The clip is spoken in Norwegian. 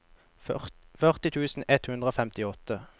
førti tusen ett hundre og femtiåtte